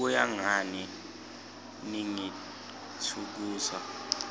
kuya ngani ningitfukusa